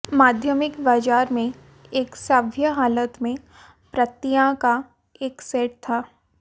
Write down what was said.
माध्यमिक बाजार में एक सभ्य हालत में प्रतियां का एक सेट था